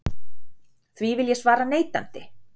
Því vil ég svara neitandi.